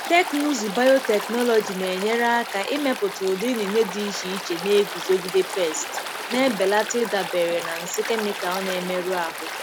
Teknụzụ biotechnology na-enyere aka ịmepụta ụdị inine dị iche iche na-eguzogide pesti, na-ebelata ịdabere na nsị kemịkalụ na-emerụ ahụ.